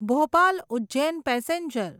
Bhopal Ujjain passenger